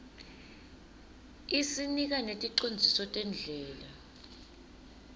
isinika neticondziso tendlela